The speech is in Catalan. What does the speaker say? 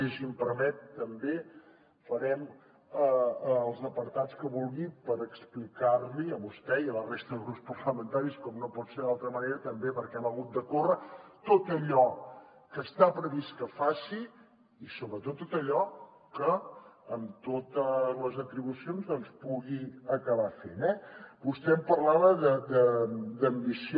i si m’ho permet també farem els apartats que vulgui per explicar li a vostè i a la resta de grups parlamentaris com no pot ser d’altra manera també perquè hem hagut de córrer tot allò que està previst que faci i sobretot tot allò que amb totes les atribucions doncs pugui acabar fent eh vostè em parlava d’ambició